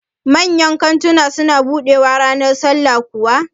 Manyan kantuna su na buɗewaa ranar sallah kuwa?